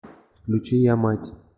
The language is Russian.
включи я мать